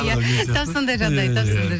иә тап сондай жағдай тап сондай